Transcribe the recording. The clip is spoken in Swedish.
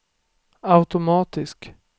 automatisk